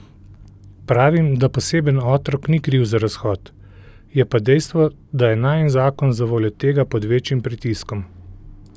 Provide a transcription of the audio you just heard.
Pravim, da poseben otrok ni kriv za razhod, je pa dejstvo, da je najin zakon zavoljo tega pod večjim pritiskom.